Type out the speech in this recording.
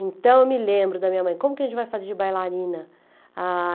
Então eu me lembro da minha mãe, como que a gente vai fazer de bailarina?